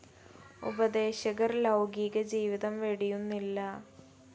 ഉപദേശകർ ലൗകീക ജീവിതം വെടിയുന്നില്ല.